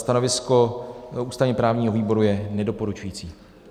Stanovisko ústavně-právního výboru je nedoporučující.